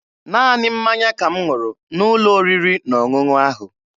Naanị mmanya ka m ṅụrụ n'ụlọ oriri na ọṅụṅụ ahụ.